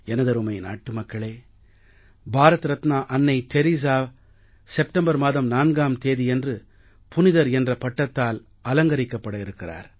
எனதருமை நாட்டு மக்களே பாரத ரத்னா அன்னை தெரஸா செப்டம்பர் மாதம் 4ஆம் தேதியன்று புனிதர் என்ற பட்டத்தால் அலங்கரிக்கப்பட இருக்கிறார்